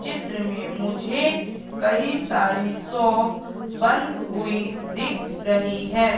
चित्र में मुझे कई सारी शॉप बंद हुई दिख रही है।